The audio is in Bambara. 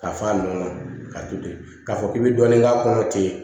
K'a fa nun ka to ten k'a fɔ k'i bi dɔɔnin k'a kɔnɔ ten